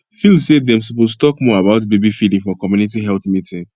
feel say dem suppose talk more about baby feeding for community health meeting